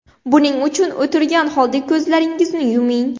Buning uchun o‘tirgan holda ko‘zlaringizni yuming.